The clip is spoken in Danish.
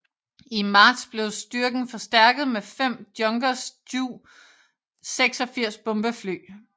I marts blev styrken forstærket med 5 Junkers Ju 86 bombefly